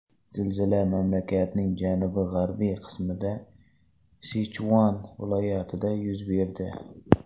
Zilzila mamlakatning janubi-g‘arbiy qismida, Sichuan viloyatida yuz berdi.